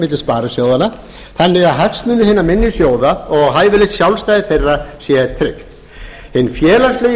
milli sparisjóðanna þannig að hagsmunir hinna minni sjóða og hæfilegt sjálfstæði þeirra sé tryggt hinn félagslegi